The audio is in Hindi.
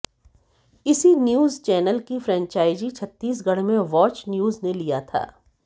इसी न्यूज चैनल की फ्रेंचाइजी छत्तीसगढ़ में वाच न्यूज ने लिया था